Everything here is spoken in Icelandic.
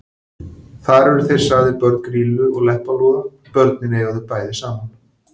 Þar eru þeir sagðir börn Grýlu og Leppalúða: Börnin eiga þau bæði saman